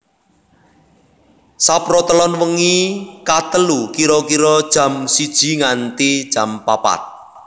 Saprotelon wengi ka telu kira kira jam siji nganti papat